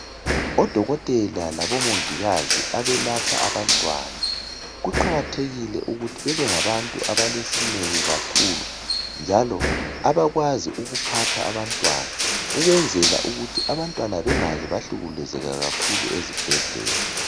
Odokotela labomongikazi abelapha abantwana kuqalathekile ukuthi bebengabantu abalesineke kakhulu njalo abakwazi ukuphatha abantwana, ukwenzela ukuthi abantwana bangaze bahlukumezeka kakhulu ezibhedlela.